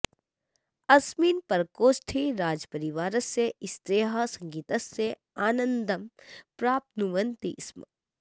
अस्मिन् प्रकोष्ठे राजपरिवारस्य स्त्रियः सङ्गीतस्य आनन्दं प्राप्नुवन्ति स्म